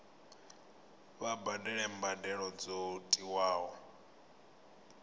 vha badele mbadelo dzo tiwaho